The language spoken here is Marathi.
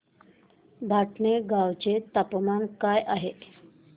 भटाणे गावाचे तापमान काय आहे